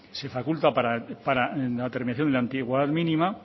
se faculta para en la terminación en antigüedad mínima